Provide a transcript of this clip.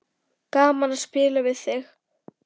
Gaman að spjalla við þig.